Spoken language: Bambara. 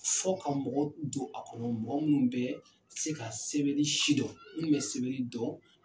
Fɔ ka mɔgɔw don a kɔnɔ mɔgɔ minnu bɛ se ka sɛbɛnni si dɔn minnu bɛ sɛbɛnni dɔn.